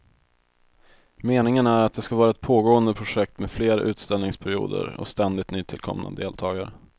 Meningen är att det ska vara ett pågående projekt med fler utställningsperioder och ständigt nytillkomna deltagare.